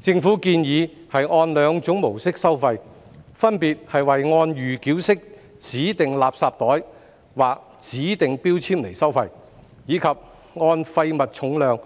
政府建議按兩種模式收費，分別為按預繳式指定垃圾袋或指定標籤收費，以及按廢物重量